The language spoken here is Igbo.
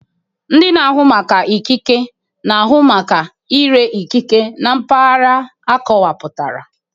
Ndị na-ahụ maka ikike ikike na-ahụ maka ire ikike na mpaghara akọwapụtara